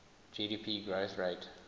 gdp growth rate